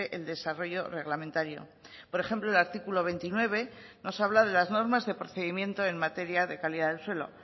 el desarrollo reglamentario por ejemplo el artículo veintinueve nos habla de las normas de procedimiento en materia de calidad del suelo